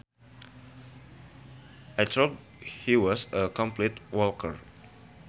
I thought he was a complete wanker